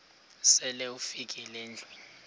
sele ufikile endlwini